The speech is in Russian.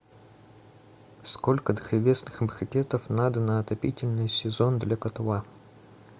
сколько древесных брикетов надо на отопительный сезон для котла